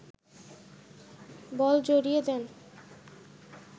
বল জড়িয়ে দেন